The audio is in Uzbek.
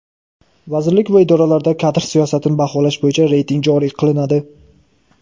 Vazirlik va idoralarda kadr siyosatini baholash bo‘yicha reyting joriy qilinadi.